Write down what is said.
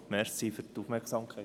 Danke für die Aufmerksamkeit.